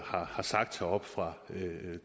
har sagt heroppe fra